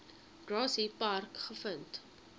grassy park gevind